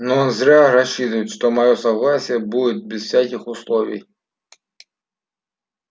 но зря рассчитывает что моё согласие будет без всяких условий